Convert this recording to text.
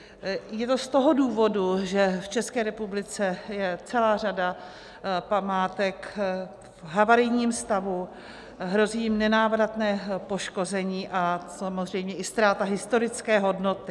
Je to z toho důvodu, že v České republice je celá řada památek v havarijním stavu, hrozí jim nenávratné poškození a samozřejmě i ztráta historické hodnoty.